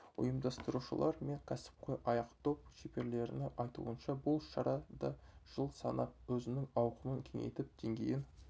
ұйымдастырушылар мен кәсіпқой аяқдоп шеберлерінің айтуынша бұл шара да жыл санап өзінің ауқымын кеңейтіп деңгейін